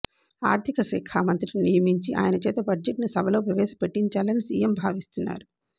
ఆర్ధికశాఖ మంత్రిని నియమించి ఆయన చేత బడ్జెట్ను సభలో ప్రవేశపెట్టించాలని సీఎం భావిస్తున్నారు